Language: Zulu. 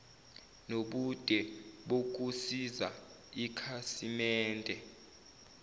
nobude bokusiza ikhasimende